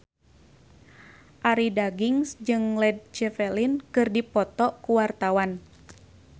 Arie Daginks jeung Led Zeppelin keur dipoto ku wartawan